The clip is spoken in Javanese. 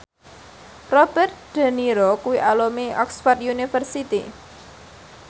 Robert de Niro kuwi alumni Oxford university